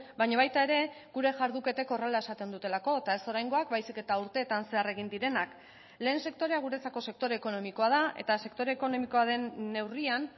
baina baita ere gure jarduketek horrela esaten dutelako eta ez oraingoak baizik eta urteetan zehar egin direnak lehen sektorea guretzako sektore ekonomikoa da eta sektore ekonomikoa den neurrian